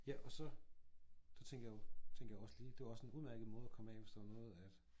Ja og så så tænker jo så tænker jeg jo det var jo også en udemærket måde at komme af hvis der var noget at